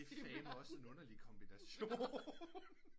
Det er fandme også en underlig kombination